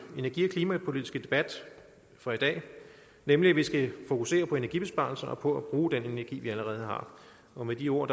energi og klimapolitiske debat for i dag nemlig at vi skal fokusere på energibesparelser og på at bruge den energi vi allerede har og med de ord